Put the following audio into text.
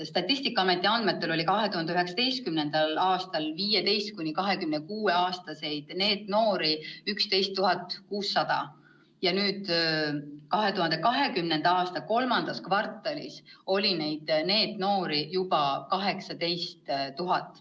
Statistikaameti andmetel oli 2019. aastal 15–26-aastaseid NEET-noori 11 600, nüüd, 2020. aasta kolmandas kvartalis oli neid juba 18 000.